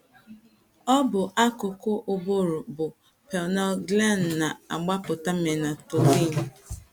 Ọ bụ akụkụ ụbụrụ bụ́ pineal gland na - agbapụta melatonin.